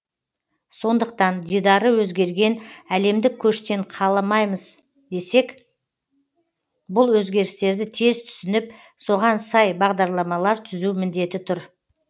сондықтан дидары өзгерген әлемдік көштен қалмаймыз десек бұл өзгерістерді тез түсініп соған сай бағдарламалар түзу міндеті тұр